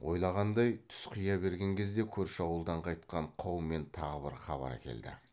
ойлағандай түс қия берген кезде көрші ауылдан қайтқан қаумен тағы бір хабар әкелді